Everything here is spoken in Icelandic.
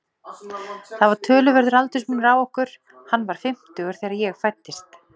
Það var töluverður aldursmunur á okkur, hann var fimmtugur þegar ég fæddist.